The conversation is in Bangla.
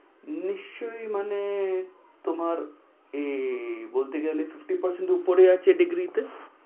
নিশ্চয় মানে তোমার এ~ই বলতে গেলে ।